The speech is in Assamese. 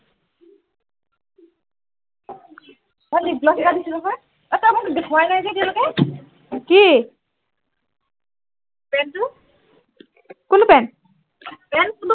মই lip gloss এটা দিছো নহয় অ তই মোক দেখুওৱাই নাই যে এতিয়া লেকে কি পেনটো কোনটো পেন পেন কোনটো